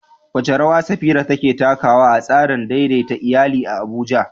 Wace rawa Safira take takawa a tsarin daidaita iyali a Abuja?